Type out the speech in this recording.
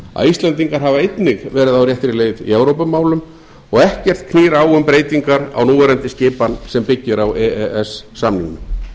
að íslendingar hafa einnig verið að á réttri leið í evrópumálum og ekkert knýr á um breytingar á núverandi skipan sem byggir á e e s samningnum